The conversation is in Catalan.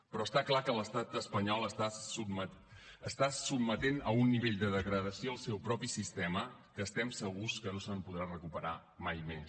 però està clar que l’estat espanyol està sotmetent a un nivell de degradació el seu propi sistema que estem segurs que no se’n podrà recuperar mai més